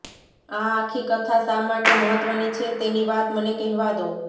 આ આખી કથા શા માટે મહત્ત્વની છે તેની વાત મને કહેવા દો